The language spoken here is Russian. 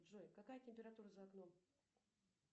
джой какая температура за окном